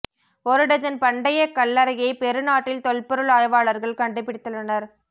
ஒரு டஜன் பண்டைய கல்லறையை பெரு நாட்டில் தொல்பொருள் ஆய்வாளர்கள் கண்டுபிடித்துள்ளனர்